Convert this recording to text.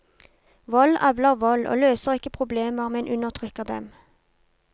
Vold avler vold, og løser ikke problemer men undertrykker dem.